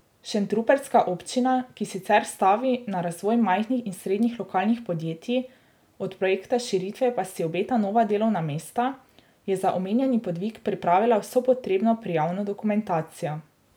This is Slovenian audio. Šentrupertska občina, ki sicer stavi na razvoj majhnih in srednjih lokalnih podjetij, od projekta širitve pa si obeta nova delovna mesta, je za omenjeni podvig pripravila vso potrebno prijavno dokumentacijo.